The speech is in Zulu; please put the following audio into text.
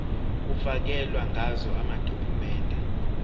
kufakelwe ngazo amadokhumende